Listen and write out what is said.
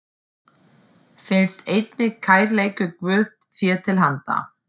felst einnig kærleikur Guðs þér til handa.